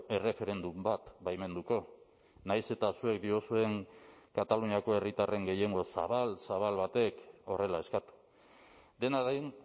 erreferendum bat baimenduko nahiz eta zuek diozuen kataluniako herritarren gehiengo zabal zabal batek horrela eskatu dena den